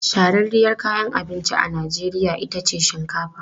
Shahararriyar kayan abinci a Najeriya ita ce shinkafa.